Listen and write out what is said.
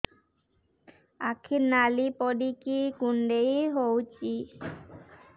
ଆଖି ନାଲି ପଡିକି କୁଣ୍ଡେଇ ହଉଛି